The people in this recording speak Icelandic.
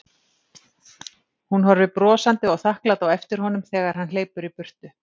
Hún horfir brosandi og þakklát á eftir honum þeg- ar hann hleypur í burtu.